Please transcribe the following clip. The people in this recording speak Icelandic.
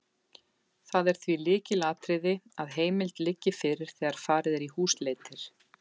Það er því lykilatriði að heimild liggi fyrir þegar farið er í húsleitir.